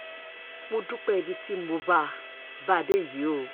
mo dúpẹ́ ibi tí mo bá a bá a dé yìí o